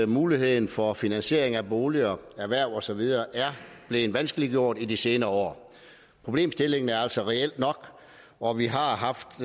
muligheden for finansiering af boliger erhverv og så videre er blevet vanskeliggjort i de senere år problemstillingen er altså reel nok og vi har haft